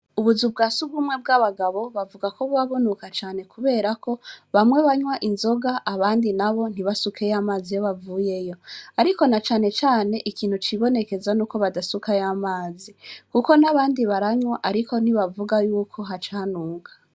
Ubuzu bwa sugumwe bw'abagabo bavuga ko buba bunuka cane ,kubera ko bamwe banwa inzoga ,abandi nabo ntibasukeyo amazi iyo bavuyeyo, ariko na cane cane cane ikintu cibonekeza Nuko badasukayo amazi kuko n'abandi baranwa ariko ntibavuga yuko haca hanuka.